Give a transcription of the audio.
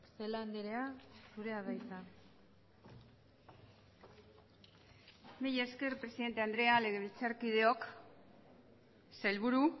celaá andrea zurea da hitza mila esker presidente andrea legebiltzarkideok sailburu